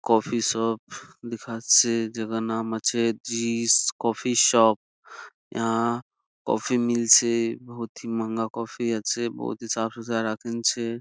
Coffee shop দেখাচ্ছে জাকার নাম আছে জিস কফি শপ আহ কফি মিলছে বহুত হি মহাজ্ঞা কফি আছে বহুত হি সাফ সুত্রা আছে।